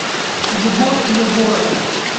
егор егоров